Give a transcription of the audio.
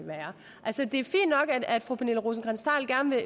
er at fru pernille rosenkrantz theil gerne